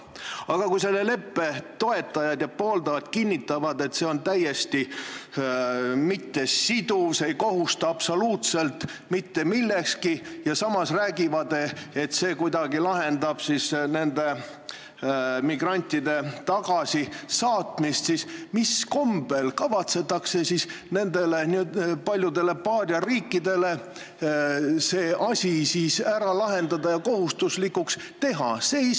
Aga kui selle leppe pooldajad kinnitavad, et see on täiesti mittesiduv, see ei kohusta absoluutselt mitte millekski, ja samas räägivad, et see kuidagi lahendab migrantide tagasisaatmise probleeme, siis mis kombel kavatsetakse nendele paljudele paariariikidele see asi ära lahendada ja kohustuslikuks teha?